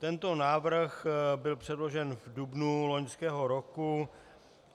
Tento návrh byl předložen v dubnu loňského roku.